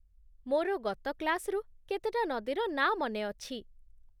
ମୋର ଗତ କ୍ଲାସ୍‌ରୁ କେତେଟା ନଦୀର ନାଁ ମନେ ଅଛି ।